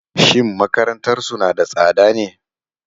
Shin makarantarsu na da tsada ne?